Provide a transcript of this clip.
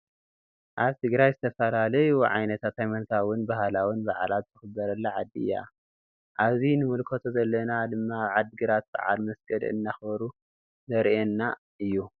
አብ ትግራይ ዝተፈላለዩ ዓይነት ሃይማኖታውን ባህላውን በዓላት ዝክበረላ ዓዲ እያ። አብዚ ንምልከቶ ዘለና ድማ አብ ዓድግራት በዓል መስቀል እናክበሩ ዘሪኢየና እዩ።